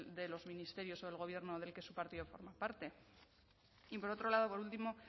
de los ministerios o del gobierno del que su partido forma parte y por otro lado por último